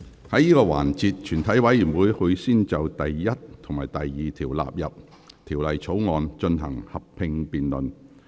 在這個環節，全體委員會會先就第1及2條納入《條例草案》，進行合併辯論。